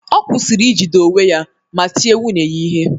Ọ kwụsịrị ijide onwe ya ma tie nwunye ya ihe